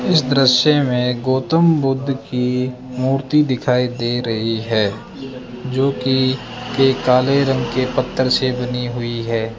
इस दृश्य में गौतम बुद्ध की मूर्ति दिखाई दे रही है जो कि एक काले रंग के पत्थर से बनी हुई है।